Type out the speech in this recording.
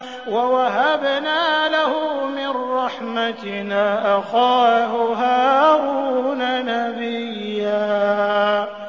وَوَهَبْنَا لَهُ مِن رَّحْمَتِنَا أَخَاهُ هَارُونَ نَبِيًّا